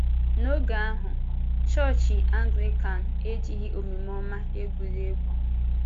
N’oge ahụ, Chọọchị Anglịkan ejighị omume ọma egwúrị egwú.